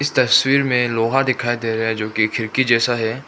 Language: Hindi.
तस्वीर में लोहा दिखाई दे रहा है जो की खिड़की जैसा है।